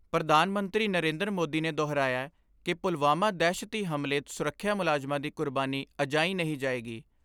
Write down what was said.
ਪ੍ਰਧਾਨ ਮੰਤਰੀ ਨਰੇਂਦਰ ਮੋਦੀ ਨੇ ਦੁਹਰਾਇਐ ਕਿ ਪੁਲਵਾਮਾ ਦਹਿਸ਼ਤੀ ਹਮਲੇ ਸੁਰੱਖਿਆ ਮੁਲਾਜ਼ਮਾਂ ਦੀ ਕੁਰਬਾਨੀ ਅਜਾਈਂ ਨਹੀਂ ਜਾਏਗੀ।